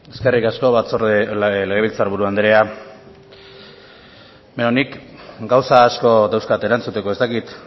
eskerrik asko legebiltzar buru andrea nik gauza dauzkat erantzuteko ez dakit